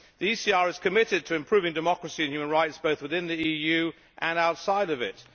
The ECR is committed to improving democracy and human rights both within the EU and outside of it.